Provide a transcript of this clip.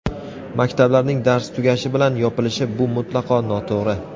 Maktablarning dars tugashi bilan yopilishi - bu mutlaqo noto‘g‘ri.